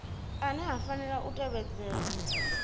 ane a fanela u tevhedzelwa